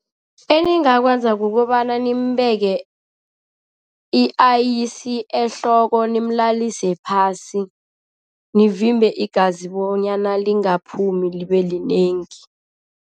Eningakwenza kukobana nimbeke i-ice ehloko, nimlalise phasi, nivimbe igazi bonyana lingaphumi libelinengi.